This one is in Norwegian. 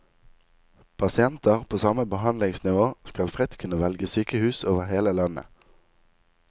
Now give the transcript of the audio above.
Pasienter på samme behandlingsnivå skal fritt kunne velge sykehus over hele landet.